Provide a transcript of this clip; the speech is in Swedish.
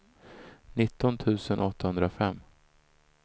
nitton tusen åttahundrafem